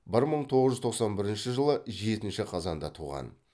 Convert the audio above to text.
бір мың тоғыз жуз тоқсан бірінші жылы жетінші қазанда туған